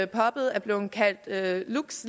poppet er blevet kaldt lux